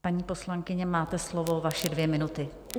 Paní poslankyně, máte slovo, vaše dvě minuty.